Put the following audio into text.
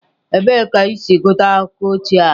Ebee ka i si gụta akụkọ ochie a?